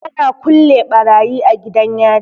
Ana kulle barayi a gidan yari.